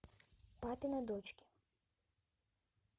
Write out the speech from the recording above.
папины дочки